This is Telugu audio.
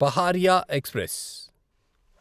పహారియా ఎక్స్ప్రెస్